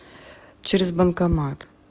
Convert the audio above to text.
через банкомат